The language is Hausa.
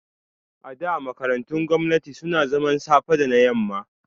A da, makarantun gwamnati suna zaman safe da na yamma